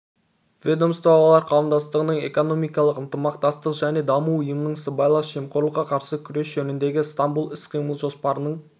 ведомстволар қауымдастығының экономикалық ынтымақтастық және даму ұйымының сыбайлас жемқорлыққа қарсы күрес жөніндегі стамбул іс-қимыл жоспарының